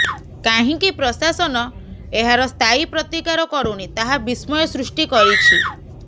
କାହିଁକି ପ୍ରଶାସନ ଏହାର ସ୍ଥାୟୀ ପ୍ରତିକାର କରୁନି ତାହା ବିସ୍ମୟ ସୃଷ୍ଟି କରିଛି